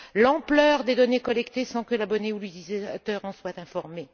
l'ampleur des données collectées sans que l'abonné ou l'utilisateur en soit informé.